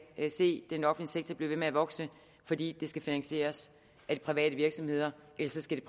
kan se den offentlige sektor blive ved med at vokse fordi det skal finansieres af de private virksomheder ellers skal